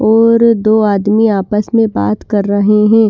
और दो आदमी आपस में बात कर रहे हैं।